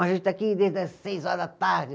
A gente está aqui desde as seis horas da tarde.